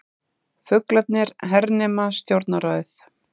Fuglarnir hernema Stjórnarráðið